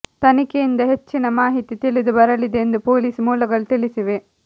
ತನಿಖೆಯಿಂದ ಹೆಚ್ಚಿನ ಮಾಹಿತಿ ತಿಳಿದು ಬರಲಿದೆ ಎಂದು ಪೊಲೀಸ್ ಮೂಲಗಳು ತಿಳಿಸಿವೆ